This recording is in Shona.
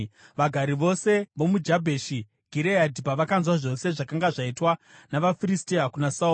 Vagari vose vomuJabheshi Gireadhi pavakanzwa zvose zvakanga zvaitwa navaFiristia kuna Sauro,